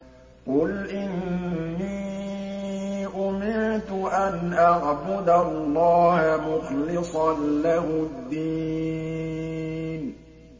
قُلْ إِنِّي أُمِرْتُ أَنْ أَعْبُدَ اللَّهَ مُخْلِصًا لَّهُ الدِّينَ